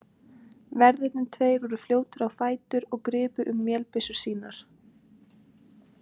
Verðirnir tveir voru fljótir á fætur aftur og gripu um vélbyssur sínar.